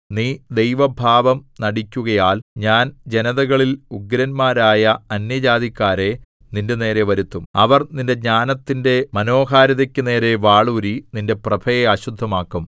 നീ ദൈവഭാവം നടിക്കുകയാൽ ഞാൻ ജനതകളിൽ ഉഗ്രന്മാരായ അന്യജാതിക്കാരെ നിന്റെനേരെ വരുത്തും അവർ നിന്റെ ജ്ഞാനത്തിന്റെ മനോഹാരിതയ്ക്കു നേരെ വാളൂരി നിന്റെ പ്രഭയെ അശുദ്ധമാക്കും